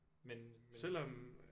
Men men